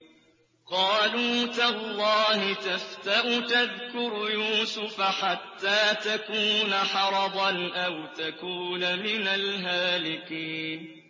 قَالُوا تَاللَّهِ تَفْتَأُ تَذْكُرُ يُوسُفَ حَتَّىٰ تَكُونَ حَرَضًا أَوْ تَكُونَ مِنَ الْهَالِكِينَ